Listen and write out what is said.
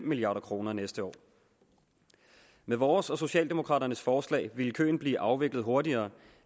milliard kroner næste år med vores og socialdemokraternes forslag ville køen blive afviklet hurtigere